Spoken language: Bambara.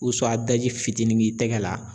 daji fitinin k'i tɛgɛ la.